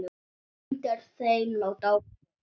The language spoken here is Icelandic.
Undir þeim lá dáið fólk.